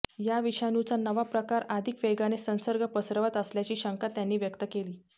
या विषाणूचा नवा प्रकार अधिक वेगाने संसर्ग पसरवत असल्याची शंका त्यांनी व्यक्त केली